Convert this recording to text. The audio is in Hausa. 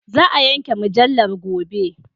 Za a yanke mujallar gobe.